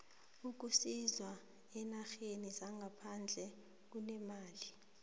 ukusisa eenarheni zangaphandle kunemali